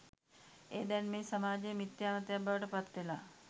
එය දැන් මේ සමාජයේ මිත්‍යා මතයක් බවට පත්වෙලා